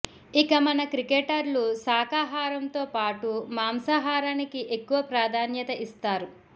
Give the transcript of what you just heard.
ఇక మన క్రికెటర్లు శాఖాహారంతో పాటు మాంసాహారానికి ఎక్కువ ప్రాధాన్యత ఇస్తారు